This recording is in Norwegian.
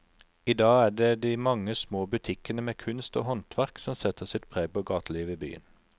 I dag er det de mange små butikkene med kunst og håndverk som setter sitt preg på gatelivet i byen.